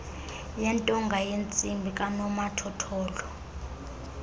yentonga yentsimbi kanomathotholo